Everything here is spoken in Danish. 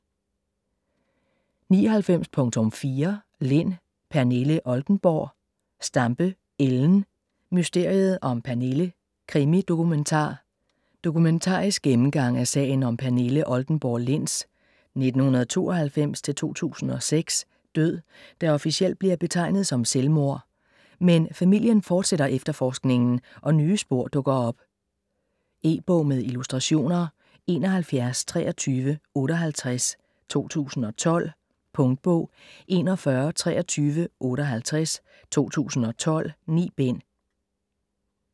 99.4 Lind, Pernille Oldenborg Stampe, Ellen: Mysteriet om Pernille: krimi-dokumentar Dokumentarisk gennemgang af sagen om Pernille Oldenborg Linds (1992-2006) død, der officielt bliver betegnet som selvmord. Men familien fortsætter efterforskningen og nye spor dukker op. E-bog med illustrationer 712358 2012. Punktbog 412358 2012. 9 bind.